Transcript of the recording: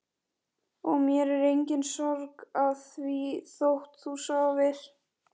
Og mér er engin sorg að því þótt þú sofir.